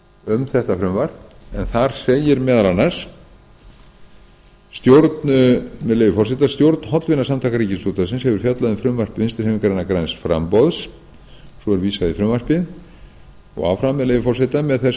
um þetta frumvarp en þar segir meðal annars með leyfi forseta stjórn hollvinasamtaka ríkisútvarpsins hefur fjallað um frumvarp vinstri hreyfingarinnar græns framboðs svo er vísað í frumvarpið og áfram með leyfi forseta með þessu